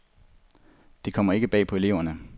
Det kommer ikke bag på eleverne.